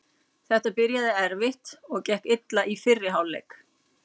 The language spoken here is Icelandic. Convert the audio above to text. Þetta byrjaði erfitt og gekk illa í fyrri hálfleik.